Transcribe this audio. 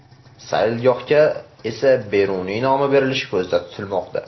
Saylgohga esa Beruniy nomi berilishi ko‘zda tutilmoqda.